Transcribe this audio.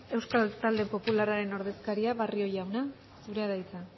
euskal talde popularraren ordezkaria barrio jauna zurea da hitza